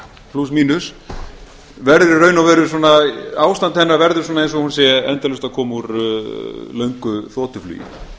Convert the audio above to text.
plús mínus verður í raun og veru svona ástand hennar verður eins og hún sé endalaust að koma úr löngu þotuflugi það